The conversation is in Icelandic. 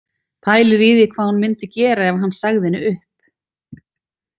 Pælir í því hvað hún myndi gera ef hann segði henni upp